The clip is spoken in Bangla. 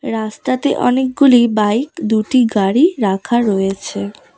রাস্তাতে অনেকগুলি বাইক দুটি গাড়ি রাখা রয়েছে।